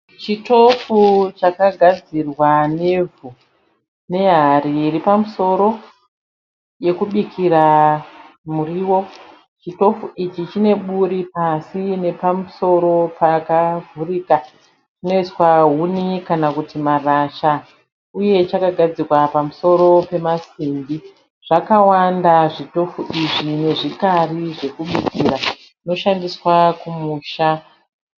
Chitofu chakagadzirwa nevhu nehari iri pamusoro yekubikira muriwo. Chitofu ichi chine buri pasi nepamusoro pakavhurika panoiswahuni kana kuti marasha uye chakagadzikwa pamusoro pemasimbi. Zvakawanda zvitofu izvi nezvikari zvekubira zvinoshandiswa kumusha.